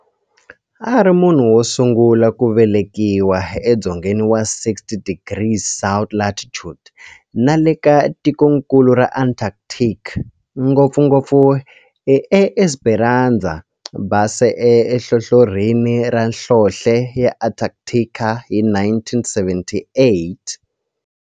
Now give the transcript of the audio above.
A ri munhu wosungula ku velekiwa e dzongeni wa 60 degrees south latitude nale ka tikonkulu ra Antarctic, ngopfugopfu eEsperanza Base enhlohlorhini ya nhlonhle ya Antarctic hi 1978.